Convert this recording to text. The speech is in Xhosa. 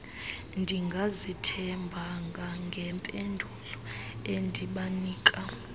ndingazithembanga ngempendulo endibanika